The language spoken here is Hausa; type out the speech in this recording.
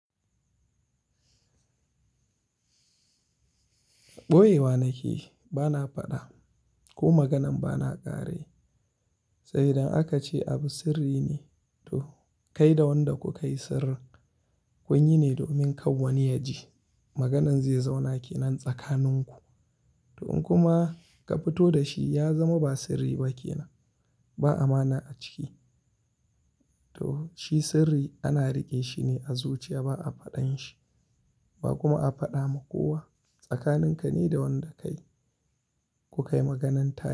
Ɓoye wa nake bana faɗa ko maganan bana ƙare. Saboda akace abu sirri ne to kai da wanda ka kai sirrin kwanyi ne domin kawwance yaji maganan zai zauna kenan tsakaninku. To in kuma ka fito da shi ya zama ba sirri ba kenan ba amana a ciki. To shi sirri ana riƙe shine a zuciya ba a faɗan shi ba kuma a faɗa ma kowa tsakanin ka ne da wanda ka kai. Ku kai maganan tare.